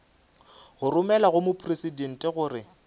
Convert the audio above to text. go romelwa go mopresidente gore